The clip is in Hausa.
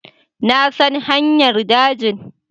Na san hanyar dajin